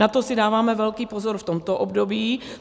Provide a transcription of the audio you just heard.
Na to si dáváme velký pozor v tomto období.